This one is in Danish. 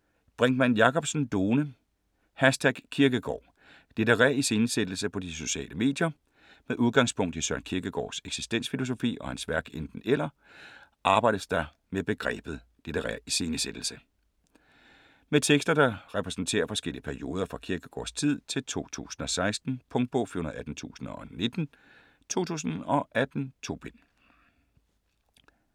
Brinkmann Jakobsen, Lone: #Kierkegaard: litterær iscenesættelse på de sociale medier Med udgangspunkt i Søren Kierkegaards eksistensfilosofi og hans værk Enten-eller arbejdes der med begrebet litterær iscenesættelse. Med tekster, der repræsenterer forskellige perioder fra Kierkegaardstid til 2016. Punktbog 418019 2018. 2 bind.